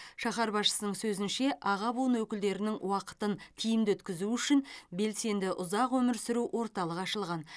шаһар басшысының сөзінше аға буын өкілдерінің уақытын тиімді өткізу үшін белсенді ұзақ өмір сүру орталығы ашылған